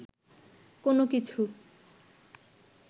কোন কিছু